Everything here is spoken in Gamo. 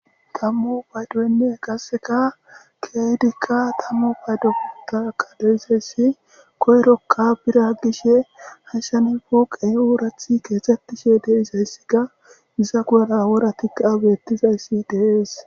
Tamu peyddoynne qasseka kehidika tamu paydoy pooqqey deizayssi koyrokka biira gishshe hayssan pooqey kexxetishe deizaysikka izza guyera woray bettizayssi de'es.